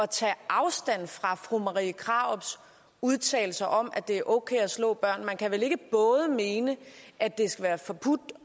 tage afstand fra fru marie krarups udtalelser om at det er okay at slå børn man kan vel ikke både mene at det skal være forbudt